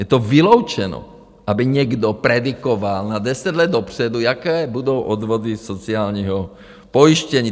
Je to vyloučeno, aby někdo predikoval na deset let dopředu, jaké budou odvody sociálního pojištění.